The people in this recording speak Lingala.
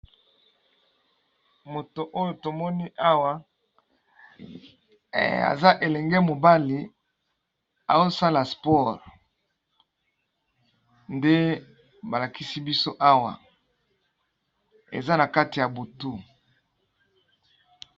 Moto oyo tomoni Awa aza elenge mobali azo Sala sport nde balakisi biso Awa eza nakati ya butu.